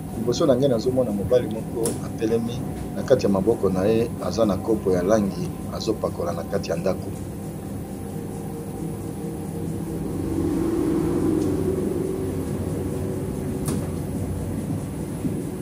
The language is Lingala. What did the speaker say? Mwana mobali atelemi likolo ya kiti, aza kotiya langi na likolo ya ndakò na lopoto babengi plafon.